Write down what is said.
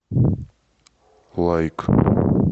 лайк